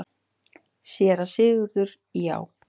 SÉRA SIGURÐUR: Já!